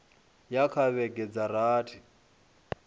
ya kha vhege dza rathi